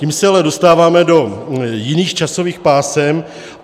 Tím se ale dostáváme do jiných časových pásem.